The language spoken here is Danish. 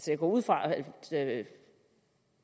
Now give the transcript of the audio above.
jeg går ud fra at